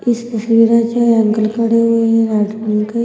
इस तस्वीर में जो है अंकल खड़े हुए हैं रेड रंग के--